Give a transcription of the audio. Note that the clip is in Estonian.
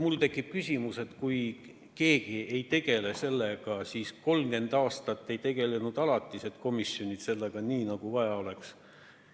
Mul tekib küsimus, et kui keegi sellega ei tegele, kas siis 30 aastat ei tegelenud alatised komisjonid sellega nii, nagu vaja oleks.